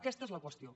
aquesta és la qüestió